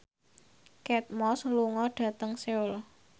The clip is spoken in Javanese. Kate Moss lunga dhateng Seoul